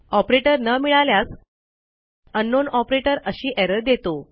operator न मिळाल्यास अंकनाउन ऑपरेटर अशी एरर देतो